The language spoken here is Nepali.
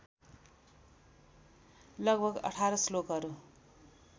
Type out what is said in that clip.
लगभग १८ श्लोकहरू